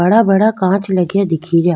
बड़ा बड़ा कांच लग्या दिख रिया।